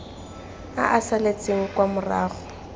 a a saletseng kwa morago